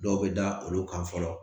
Dɔw bɛ da olu kan fɔlɔ